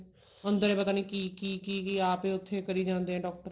ਅੰਦਰੇ ਪਤਾ ਨਹੀਂ ਕਿ ਕਿ ਕਿ ਕਿ ਆਪ ਉੱਥੇ ਕਰੀ ਜਾਂਦੇ ਨੇ doctor